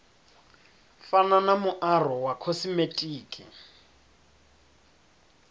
fana na muaro wa khosimetiki